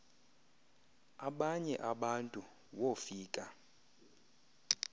abanye abantu wofika